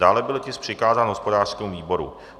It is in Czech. Dále byl tisk přikázán hospodářskému výboru.